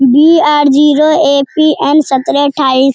B R zero A P N. सत्रह अठाइस।